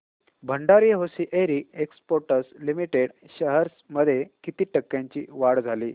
Bhandari hosiery exports limited shares मध्ये किती टक्क्यांची वाढ झाली